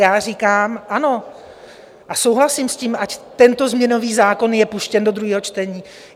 Já říkám ano a souhlasím s tím, ať tento změnový zákon je puštěn do druhého čtení.